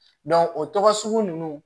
o tɔgɔ sugu ninnu